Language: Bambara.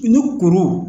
Ni kurun